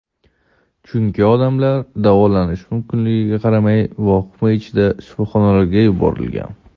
chunki odamlar uyda davolanishi mumkinligiga qaramay vahima ichida shifoxonalarga yuborilgan.